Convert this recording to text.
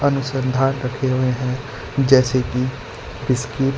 रखे हुए है जैसे की इसकी--